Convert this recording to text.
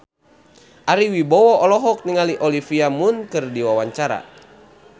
Ari Wibowo olohok ningali Olivia Munn keur diwawancara